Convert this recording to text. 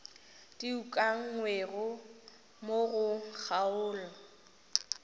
di ukangwego mo go kgaolo